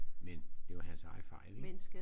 Men det var hans egen fejl ik